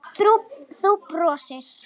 Þú brosir.